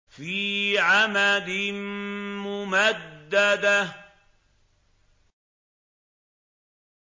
فِي عَمَدٍ مُّمَدَّدَةٍ